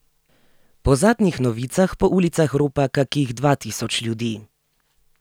Po zadnjih novicah po ulicah ropa kakih dva tisoč ljudi.